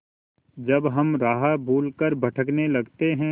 जब हम राह भूल कर भटकने लगते हैं